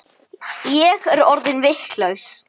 Ég er orðin vitlaus